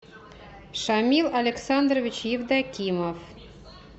шамил александрович евдокимов